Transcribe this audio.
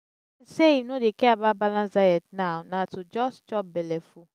ahmed say im no dey care about balanced diet now na to just chop belleful